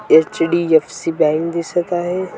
HDFC bank दिसत आहे.